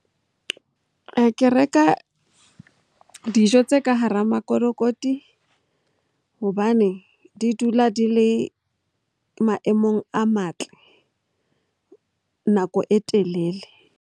Ke reka dijo tse ka hara makolokoti hobane di dula di le maemong a matle nako e telele.